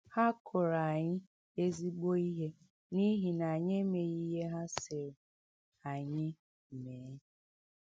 Ha kụrụ anyị ezigbo ihe n’ihi na anyị ‘ emeghị ihe ha sịrị anyị mee. ’